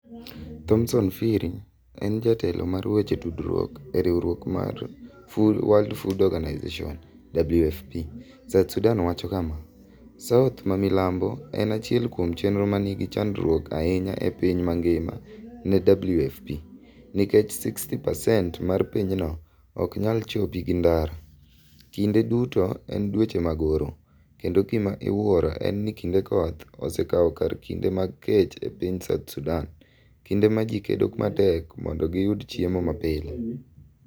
Thomson Phiri en jatelo mar weche tudruok e riwruok mar World Food Organization, WFP, South Sudan wacho kama: "South mamilambo en achiel kuom chenro ma nigi chandruok ahinya e piny mangima ne WFP, nikech pasent 60 mar pinyno ok nyal chopi gi ndara, kinde duto en dweche mag oro, kendo gima iwuoro en ni kinde koth osekawo kar kinde mag kech e piny South Sudan, kinde ma ji kedo matek mondo giyud chiemo mapile.